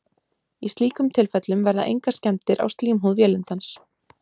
í slíkum tilfellum verða engar skemmdir á slímhúð vélindans